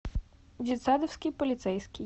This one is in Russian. детсадовский полицейский